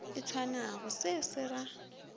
e tshwanago se se ra